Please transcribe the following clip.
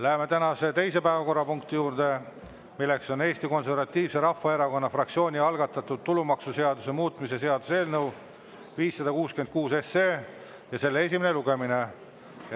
Läheme tänase teise päevakorrapunkti juurde: Eesti Konservatiivse Rahvaerakonna fraktsiooni algatatud tulumaksuseaduse muutmise seaduse eelnõu 566 esimene lugemine.